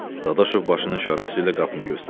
Dadaşov başının işarəsi ilə qapını göstərtdi.